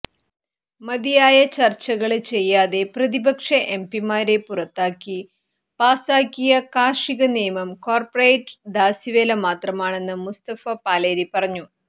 മതിയായ ചര്ച്ചകള് ചെയ്യാതെ പ്രതിപക്ഷ എം പിമാരെ പുറത്താക്കി പാസാക്കിയ കാര്ഷിക നിയമം കോര്പ്പറേറ്റ് ദാസ്യവേലമാത്രമാണെന്ന് മുസ്തഫ പാലേരി പറഞ്ഞു